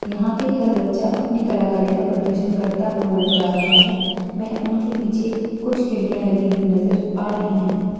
यहाँ पे हर बच्चा अपने कलाकारी का प्रदर्शन करता हुआ नजर आ रहा है वह उनके पीछे कुछ खिड़कियां लगी हुई नजर आ रही हैं।